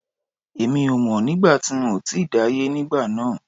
Èmi ò mọ̀ nígbà tí n ò tíì dáyé nígbà náà